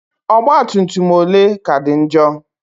Ọgbatumtum ole ka dị njọ?